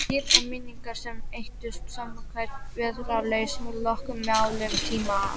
Líf og minningar sem eyddust samkvæmt vægðarlausu lögmáli tímans.